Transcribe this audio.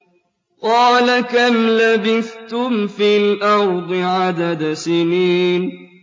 قَالَ كَمْ لَبِثْتُمْ فِي الْأَرْضِ عَدَدَ سِنِينَ